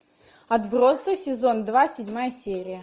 отбросы сезон два седьмая серия